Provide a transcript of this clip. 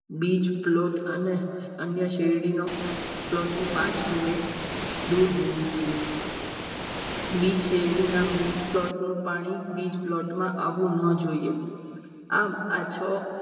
બીજ plot અને અન્ય શેરડીનો plot થી પાંચ minute દૂર હોવું જોઈએ. બીજ શેરડીના plot નું પાણી બીજ plot માં આવવું ન જોઈએ. આમ આ